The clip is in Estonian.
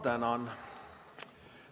Ma tänan!